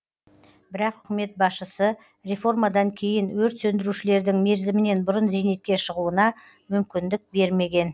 бірақ үкімет басшысы реформадан кейін өрт сөндірушілердің мерзімінен бұрын зейнетке шығуына мүмкіндік бермеген